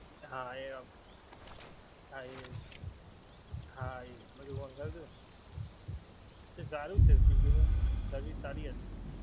હા એ, હા એ, હા એ જ બધુ મંગાવ્યું હતું ને! તે સારું છે, સ્વીગી ની service સારી હતી.